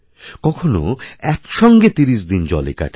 কখনও একসঙ্গে তিরিশ দিন জলেকাটাবে